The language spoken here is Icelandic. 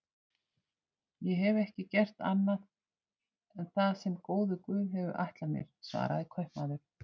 Ég hef ekki gert annað en það sem góður guð hefur ætlað mér, svaraði kaupmaður.